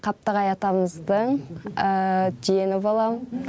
қаптағай атамыздың жиені болам